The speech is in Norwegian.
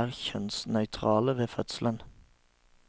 er kjønnsnøytrale ved fødselen.